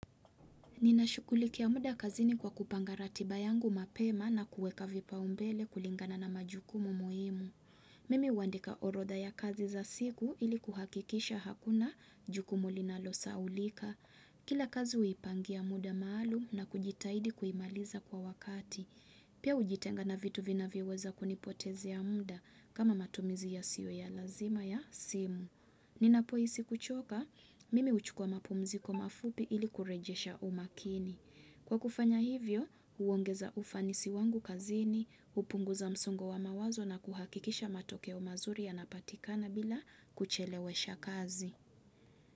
Ninashughulikia muda kazini kwa kupanga ratiba yangu mapema na kuweka vipao mbele kulingana na majukumu muhimu. Mimi huandika horodha ya kazi za siku ili kuhakikisha hakuna jukumu linalo sahaulika. Kila kazi huipangia muda maalum na kujitahidi kuimaliza kwa wakati. Pia hujitenga na vitu vinavyoweza kunipotezea muda kama matumizi yasio ya lazima ya simu. Ninapohisi kuchoka, mimi huchukua mapumziko mafupi ili kurejesha umakini. Kwa kufanya hivyo, huongeza ufanisi wangu kazini, hupunguza msungo wa mawazo na kuhakikisha matokeo mazuri yanapatikana bila kuchelewesha kazi.